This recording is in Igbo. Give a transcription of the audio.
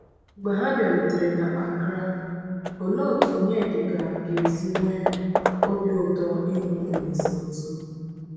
Mgbe ha bịarutere n’Accra, òlee otú Onyedịka ga-esi nwee obi ụtọ ịhụ Olíse ọzọ!